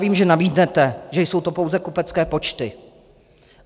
Vím, že namítnete, že jsou to pouze kupecké počty.